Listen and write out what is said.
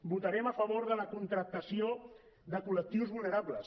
votarem a favor de la contractació de col·lectius vulnerables